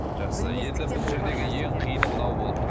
жақсы енді бұл жердегі ең қиыны мынау болып тұр